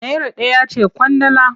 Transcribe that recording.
Naira ɗaya ce ƙwandala.